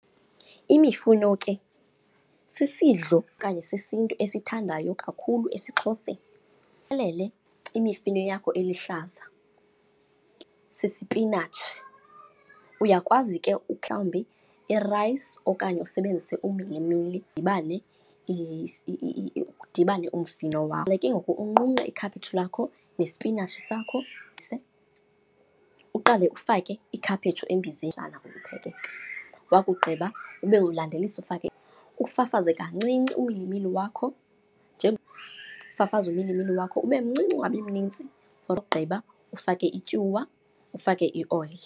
Imifuno ke sisidlo okanye sesiNtu esithandwayo kakhulu esiXhoseni. imifino yakho eluhlaza, sisipinatshi. Uyakwazi ke umhlawumbi irayisi okanye usebenzise umilimili idibane, udibane umfino wakho. Ke ngoku unqunqe ikhaphetshu lakho nesipinatshi sakho , uqale ufake ikhaphetshu embizeni xeshana uphekeka. Wakugqiba ube ulandelise ufake, ufafaze kancinci umilimili wakho , ufafaze umilimili wakho ube mncinci ungabi mnintsi. For ukugqiba ufake ityuwa, ufake ioyile.